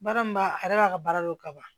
Baara min b'a a yɛrɛ b'a ka baara dɔn ka ban